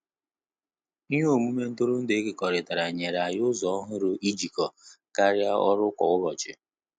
Ihe omume ntụrụndu ekokoritara nyere anyị ụzọ ọhụrụ ijikọọ karịa ọrụ kwa ụbọchị